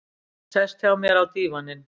Sest hjá mér á dívaninn.